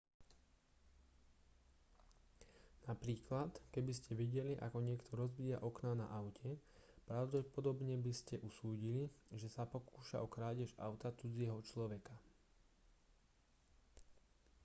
napríklad keby ste videli ako niekto rozbíja okná na aute pravdepodobne by ste usúdili že sa pokúša o krádež auta cudzieho človeka